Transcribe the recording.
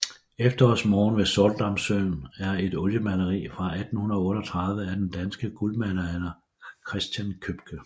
Efterårsmorgen ved Sortedamssøen er et oliemaleri fra 1838 af den danske guldaldermaler Christen Købke